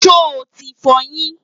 sho tí f'oyin?